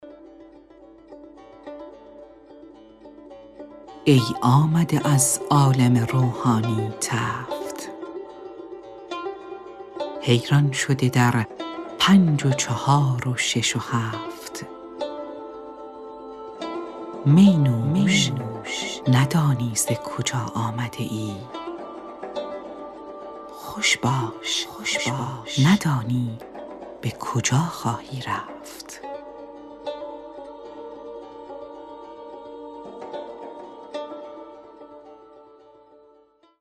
ای آمده از عالم روحانی تفت حیران شده در پنج و چهار و شش و هفت می نوش ندانی ز کجا آمده ای خوش باش ندانی به کجا خواهی رفت